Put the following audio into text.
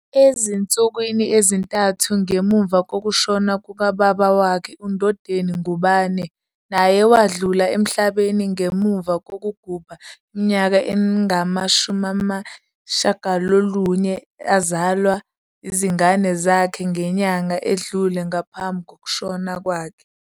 Ezinsukwini ezintathu ngemuva kokushona kukababa wakhe uNdodeni Ngubane naye wadlula emhlabeni ngemuva kokugubha iminyaka engama-90 azalwa izingane zakhe ngenyanga edlule ngaphambi kokushona kwakhe.